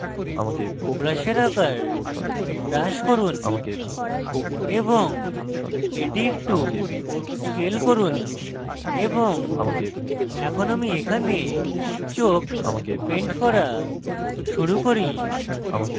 brush আকার brush করুন এবং এটি একটু scale করুন এবং এখন আমি এখানে চোখ paint করা শুরু করি